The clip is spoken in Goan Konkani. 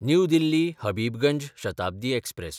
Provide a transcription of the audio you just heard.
new दिल्ली–हबिबगंज Shatabdi express